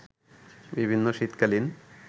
বিভিন্ন শীতকালীন